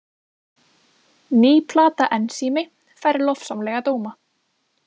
Ný plata Ensími fær lofsamlega dóma